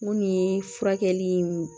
Mun ye furakɛli in